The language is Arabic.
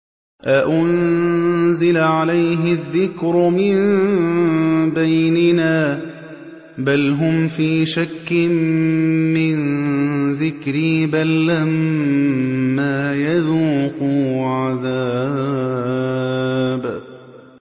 أَأُنزِلَ عَلَيْهِ الذِّكْرُ مِن بَيْنِنَا ۚ بَلْ هُمْ فِي شَكٍّ مِّن ذِكْرِي ۖ بَل لَّمَّا يَذُوقُوا عَذَابِ